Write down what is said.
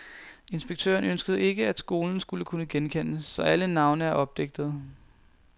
Inspektøren ønskede ikke, at skolen skulle kunne genkendes, så alle navne er opdigtede.